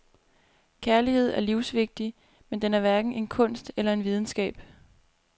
Kærlighed er livsvigtig, men den er hverken en kunst eller en videnskab.